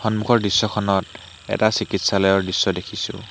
সন্মুখৰ দৃশ্যখনত এটা চিকিৎসালয়ৰ দৃশ্য দেখিছোঁ।